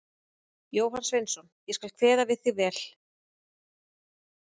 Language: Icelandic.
Jóhann Sveinsson: Ég skal kveða við þig vel.